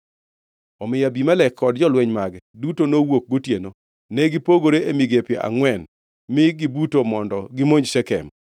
Omiyo Abimelek kod jolweny mage duto nowuok gotieno, ne gipogore e migepe angʼwen mi gibuto mondo gimonj Shekem.